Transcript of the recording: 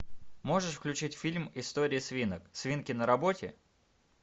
можешь включить фильм истории свинок свинки на работе